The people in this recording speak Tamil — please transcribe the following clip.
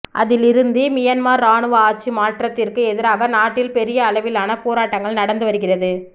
அதிலிருந்து மியன்மார் இராணுவ ஆட்சி மாற்றத்திற்கு எதிராக நாட்டில் பெரிய அளவிலான போராட்டங்கள் நடந்து வருகிறது